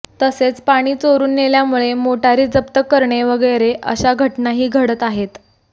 तसेच पाणी चोरून नेल्यामुळे मोटारी जप्त करणे वगैरे अशा घटनाही घडत आहेत